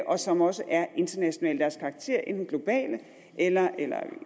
og som også er international i deres karakter enten globale eller eller i